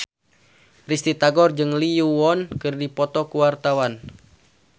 Risty Tagor jeung Lee Yo Won keur dipoto ku wartawan